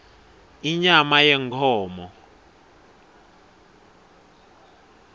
inyama yenkhomo